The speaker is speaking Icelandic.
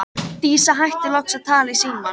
Dísa hættir loks að tala í símann.